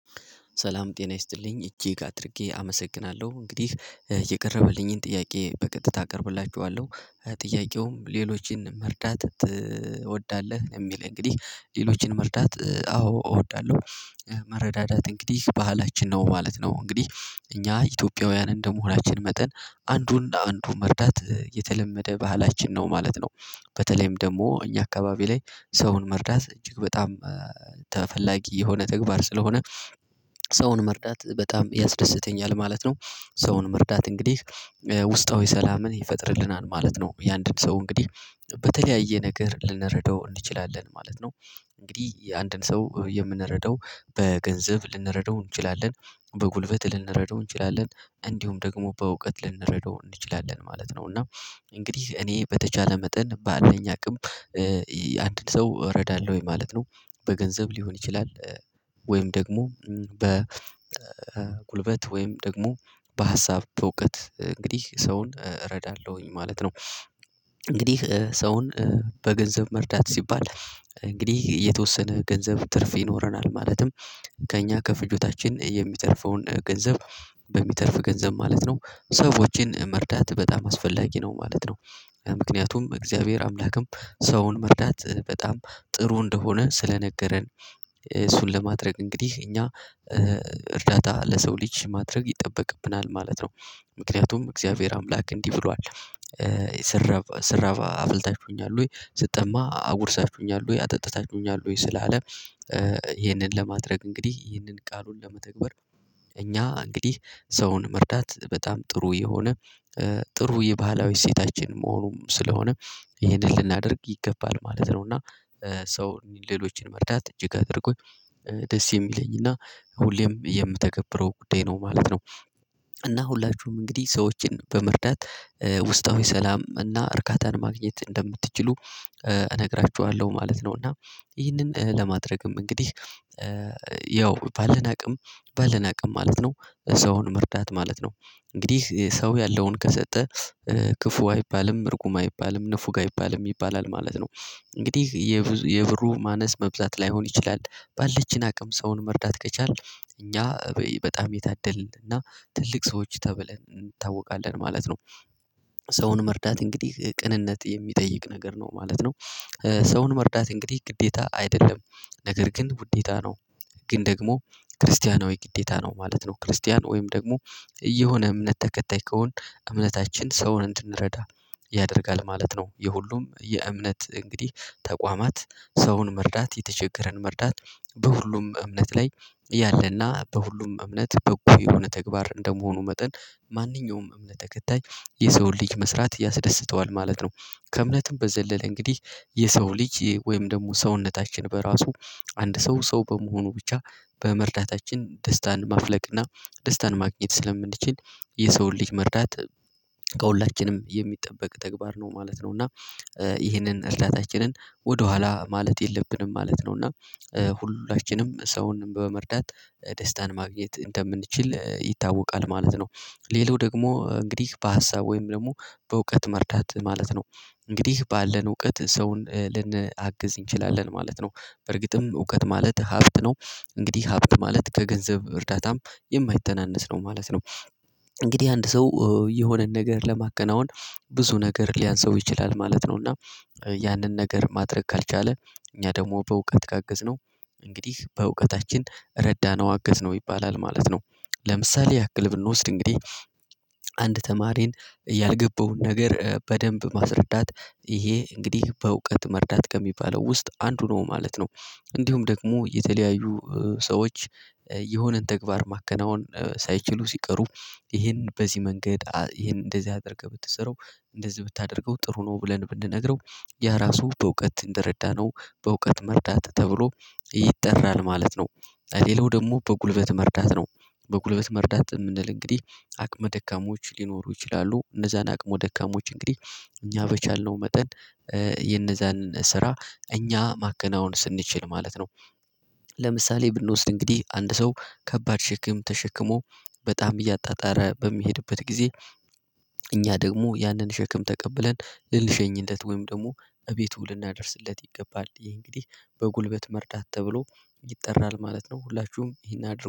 ሰላም ጤና ይስጥልኝ እጅግ አድርጌ አመሰግናለሁ እንግዲህ የቀረበልኝን ጥያቄ በቀጥታ አቀርብላችኋለሁ። ጥያቄውም ሌሎችን መርዳት ትወዳለህ? የሚል እንግዲህ ሌሎችን መርዳት አዎ እወዳለሁ። መረዳዳት እንግዲህ ባህላችን ነው ማለት ነው። እንግዲህ እኛ ኢትዮጵያውያን እንደመሆናችን መጠን አንዱን አንዱ መርዳት የተለመደ ባህላችን ነው ማለት ነው። በተለይም ደግሞ እኛ አካባቢ ላይ ሰውን መርዳት እጅግ በጣም ተፈላጊ የሆነ ተግባር ስለሆነ ሰውን መርዳት በጣም ያስደስተኛል ማለት ነው። ሰውን መርዳት እንግዲህ ውስጣዊ ሰላምን ይፈጥርልናል ማለት ነው። የአንድን ሰው እንግዲህ በተለያየ ነገር ልንረዳው እንችላለን ማለት ነው። እንግዲህ የአንድን ሰው የምንረዳው በገንዘብ ልንረዳው እንችላለን በጉልበት ልንረዳው እንችላለን እንዲሁም ደግሞ በእውቀት ልንረዳው እንችላለን ማለት ነው። እና እንግዲህ እኔ በተቻለ መጠን ባለኝ አቅም ሰው እረዳለሁ ወይ ማለት ነው። በገንዘብ ሊሆን ይችላል። ወይም ደግሞ በጉልበት ወይም ደግሞ በሀሳብ በእውቀት እንግዲህ ሰውን እረዳለሁኝ ማለት ነው። እንግዲህ ሰውን በገንዘብ መርዳት ሲባል እንግዲህ የተወሰነ ገንዘብ ትርፍ ይኖረናል ማለትም ከእኛ ከፍጆታችን የሚተርፈውን ገንዘብ በሚተርፍ ገንዘብ ማለት ነው ሰዎችን መርዳት በጣም አስፈላጊ ነው ማለት ነው። ምክንያቱም እግዚአብሔር አምላክም ሰውን መርዳት በጣም ጥሩ እንደሆነ ስለነገረን እሱን ለማድረግ እንግዲህ እኛ እርዳታ ለሰው ልጅ ማድረግ ይጠበቅብናል ማለት ነው። ምክንያቱም እግዚአብሔር አምላክ እንዲህ ብሏል። ስራብ አብልታችሁኛል ወይ ስጠማ አጉርሳችሁኛል ወይ አጠጥታችሁኛል ወይ ስላለ ለማድረግ እንግዲህ ይህንን ቃሉን ለመተግበር። እኛ እንግዲህ ሰውን መርዳት በጣም ጥሩ የሆነ ጥሩ የባህላዊ ሴታችን መሆኑም ስለሆነ ይሄንን ልናደርግ ይገባል ማለት ነው። እና ሰው ሌሎችን መርዳት እጅግ አድርጎኝ ደስ የሚለኝ እና ሁሌም የምተገብረው ጉዳይ ነው ማለት ነው። እና ሁላችሁም እንግዲህ ሰዎችን በመርዳት ውስጣዊ ሰላም እና እርካታን ማግኘት እንደምትችሉ እነግራችኋለሁ ማለት ነው። እና ይህንን ለማድረግም እንግዲህ ያው ባለን አቅም ባለን አቅም ማለት ነው ሰውን መርዳት ማለት ነው። እንግዲህ ሰው ያለውን ከሰጠ ክፉ አይባልም እርጉም አይባልም ንፉግ አይባልም ይባላል ማለት ነው። እንግዲህ የብሩ ማነስ መብዛት ላይሆን ይችላል ባለችን አቅም ሰውን መርዳት ከቻልን እኛ በጣም የታደልን እና ትልቅ ሰዎች ተብለን እንታወቃለን ማለት ነው። ሰውን መርዳት እንግዲህ ቅንነት የሚጠይቅ ነገር ነው ማለት ነው። ሰውን መርዳት እንግዲህ ግዴታ አይደለም ነገር ግን ውዴታ ነው። ግን ደግሞ ክርስቲያናዊ ወይ ግዴታ ነው ማለት ነው። ክርስቲያን ወይም ደግሞ የሆነ እምነት ተከታይ ከሆን እምነታችን ሰውን እንድንረዳ ያደርጋል ማለት ነው። የሁሉም የእምነት እንግዲህ ተቋማት ሰውን መርዳት የተቸገረን መርዳት በሁሉም እምነት ላይ ያለና በሁሉም እምነት በጎ የሆነ ተግባር እንደመሆኑ መጠን ማንኛውም እምነት ተከታይ የሰው ልጅ መስራት ያስደስተዋል ማለት ነው። ከእምነትም በዘለለ እንግዲህ የሰው ልጅ ወይም ደግሞ ሰውነታችን በራሱ አንድ ሰው ሰው በመሆኑ ብቻ በመርዳታችን ደስታን ማፍለቅና ደስታን ማግኘት ስለምንችል የሰውን ልጅ መርዳት ከሁላችንም የሚጠበቅ ተግባር ነው ማለት ነው። እና ይህንን እርዳታችንን ወደኋላ ማለት የለብንም ማለት ነው። እና ሁላችንም ሰውን በመርዳት ደስታን ማግኘት እንደምንችል ይታወቃል ማለት ነው። ሌላው ደግሞ እንግዲህ በሀሳብ ወይም ደግሞ በእውቀት መርዳት ማለት ነው። እንግዲህ ባለን እውቀት ሰውን ልንአግዝ እንችላለን ማለት ነው። በርግጥም እውቀት ማለት ሀብት ነው። እንግዲህ ሀብት ማለት ከገንዘብ እርዳታም የማይተናነስ ነው ማለት ነው። እንግዲህ አንድ ሰው የሆነን ነገር ለማገናወን ብዙ ነገር ሊያንስው ይችላል ማለት ነው። እና ያንን ነገር ማድረግ ካልቻለ እኛ ደግሞ በእውቀት ካገዝነው እንግዲህ በእውቀታችን ረዳነው አገዝነው ይባላል ማለት ነው። ለምሳሌ ያክል ብንወስድ እንግዲህ አንድ ተማሪን ያልገባውን ነገር በደንብ ማስረዳት ይሄ እንግዲህ በእውቀት መርዳት ከሚባለው ውስጥ አንዱ ነው ማለት ነው። እንዲሁም ደግሞ የተለያዩ ሰዎች የሆነን ተግባር ማከናወን ሳይችሉ ሲቀሩ ይሄን በዚህ መንገድ ይሄን እንደዚህ አድርገህ ብትሰራው እንደዚህ ብታደርገው ጥሩ ነው ብለን ብንነግረው ያ ራሱ በእውቀት እንደረዳነው በእውቀት መርዳት ተብሎ ይጠራል ማለት ነው። ሌላው ደግሞ በጉልበት መርዳት ነው። በጉልበት መርዳት የምንል እንግዲህ አቅመ ደካሞች ሊኖሩ ይችላሉ እነዛን አቅመ ደካሞች እንግዲህ እኛ በቻልነው መጠን የነዛንን ስራ እኛ ማከናወን ስንችል ማለት ነው። ለምሳሌ ብንወስድ እንግዲህ አንድ ሰው ከባድ ሽክም ተሽክሞ በጣም እያጣጣረ በሚሄድበት ጊዜ እኛ ደግሞ ያንን ሸክም ተቀብለን ልልሸኝለት ወይም ደግሞ እቤቱ ልናደርስለት ይገባል ይሄ እንግዲህ በጉልበት መርዳት ተብሎ ይጠራል ማለት ነው። ሁላችሁም ይሄን አድርጉ